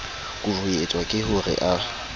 kuruetswa ke ho re a